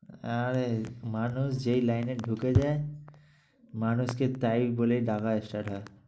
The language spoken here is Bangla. আরে মানুষ যেই line এ ঢুকে যায় মানুষকে তাই বলেই ডাকা start হয়।